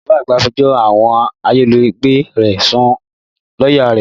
Bàbá àgbà fẹjọ́ àwọn ayálégbé rẹ̀ sun lọ́yà rẹ̀